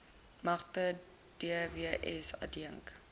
magte dws adjunk